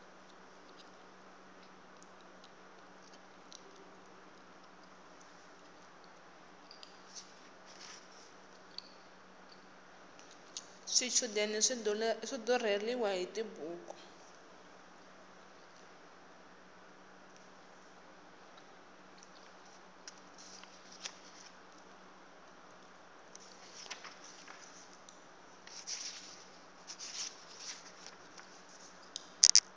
swichudeni swi durheliwa hiti buku